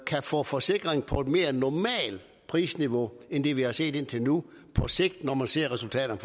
kan få forsikring på et mere normalt prisniveau end det vi har set indtil nu på sigt når man ser resultaterne